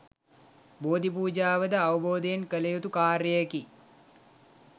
බෝධි පූජාව ද අවබෝධයෙන් කළ යුතු කාර්යයකි.